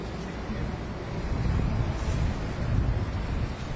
Qəşəng bir kompleksdir.